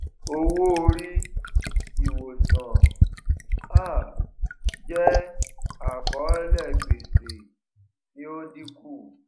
owóorí ìwòsàn um jẹ àkọọlẹ gbèsè tí ó dínkù